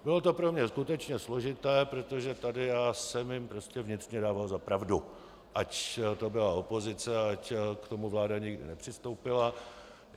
Bylo to pro mě skutečně složité, protože tady já jsem jim prostě vnitřně dával za pravdu, ať to byla opozice, ať k tomu vláda nikdy nepřistoupila.